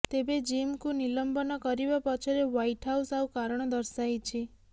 ତେବେ ଜିମ୍ଙ୍କୁ ନିଲମ୍ବନ କରିବା ପଛରେ ହ୍ୱାଇଟ୍ ହାଉସ୍ ଆଉ କାରଣ ଦର୍ଶାଇଛି